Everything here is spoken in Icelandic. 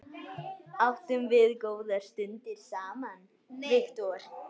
Áttum við góðar stundir saman.